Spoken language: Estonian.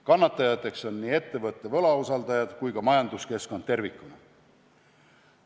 Kannatajateks on nii ettevõtte võlausaldajad kui ka majanduskeskkond tervikuna.